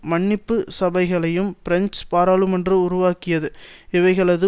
மன்னிப்பு சபைகளையும் பிரெஞ்சு பாராளுமன்றம் உருவாக்கியது இவைகளது